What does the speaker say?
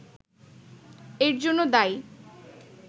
এর জন্য দায়ী